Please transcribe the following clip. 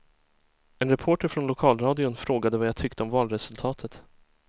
En reporter från lokalradion frågade vad jag tyckte om valresultatet.